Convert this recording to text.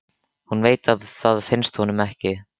Hún veit að það finnst honum ekki.